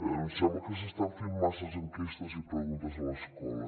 em sembla que s’estan fent masses enquestes i preguntes a l’escola